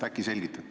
Äkki selgitate.